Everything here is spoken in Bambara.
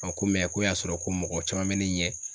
ko ko y'a sɔrɔ ko mɔgɔ caman be ne ɲɛ